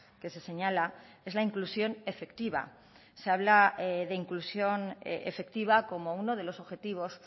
que se señala es la inclusión efectiva se habla de inclusión efectiva como uno de los objetivos